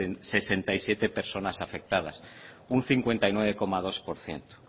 sesenta y siete personas afectadas un cincuenta y nueve coma dos por ciento